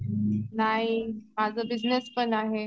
नाही माझा बिजनेस पण आहे.